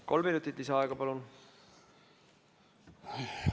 Kolm minutit lisaaega, palun!